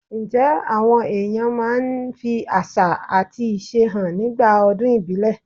Ǹjẹ́ àwọn èèyàn máa ń fi àṣà àti ìṣe hàn nígbà ọdún ìbílẹ̀?